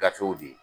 Gafew di